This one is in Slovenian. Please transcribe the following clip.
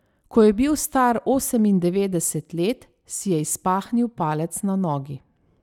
Ko je bil star osemindevetdeset let, si je izpahnil palec na nogi.